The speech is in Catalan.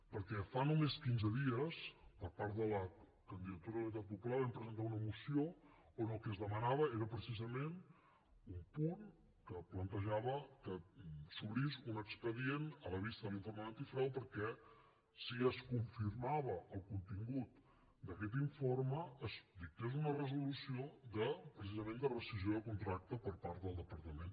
perquè fa només quinze dies per part de la candidatura d’unitat popular vam presentar una moció on el que es demanava era precisament un punt que plantejava que s’obrís un expedient a la vista de l’informe d’antifrau perquè si es confirmava el contingut d’aquest informe es dictés una resolució de precisament rescissió de contracte per part del departament